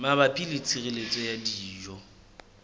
mabapi le tshireletso ya dijo